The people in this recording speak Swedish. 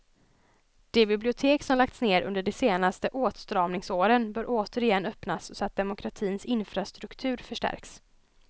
De bibliotek som lagts ned under de senaste åtstramningsåren bör återigen öppnas, så att demokratins infrastruktur förstärks.